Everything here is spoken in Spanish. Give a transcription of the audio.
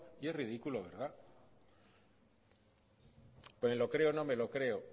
y es ridículo verdad me lo creo y no me lo creo